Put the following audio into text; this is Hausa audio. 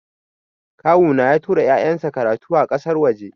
Kawuna ya tura ya'yan shi karatu a ƙasar waje.